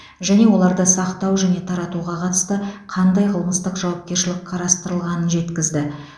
және оларды сақтау және таратуға қатысты қандай қылмыстық жауапкершілік қарастырылғанын жеткізді